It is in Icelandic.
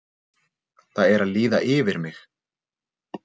Það er að líða yfir mig.